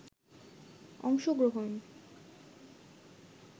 অংশগ্রহন